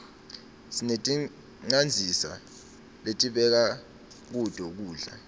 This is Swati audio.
sineticandzisa lesibeka kuto kudla